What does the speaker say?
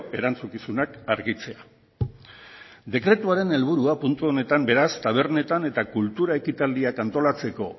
erantzukizunak argitzea dekretuaren helburua puntu honetan beraz tabernetan eta kultura ekitaldiak antolatzeko